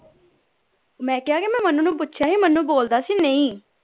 ਮੈਂ ਕਿਹਾ ਕੇ ਮੈਂ ਮਨੁ ਨੂੰ ਪੁੱਛਿਆ ਸੀ ਮਨੁ ਬੋਲਦਾ ਸੀ ਨਹੀਂ